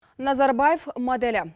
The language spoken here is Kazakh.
назарбаев моделі